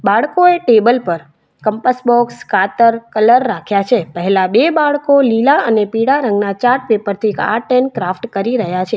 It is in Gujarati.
બાળકોએ ટેબલ પર કંપાસ બોક્સ કાતર કલર રાખ્યા છે પહેલા બે બાળકો લીલા અને પીળા રંગના ચાર્ટ પેપર થી આર્ટ એન્ડ ક્રાફ્ટ કરી રહ્યા છે.